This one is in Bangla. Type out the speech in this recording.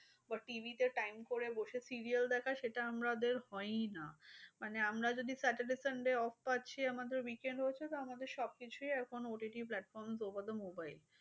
TV তে time করে বসে serial দেখা সেটা আমাদের হয়ই না। মানে আমরা যদি saturday sunday off পাচ্ছি আমাদের week end হয়েছে। তো আমাদের সবকিছুই এখন OTT platform over the mobile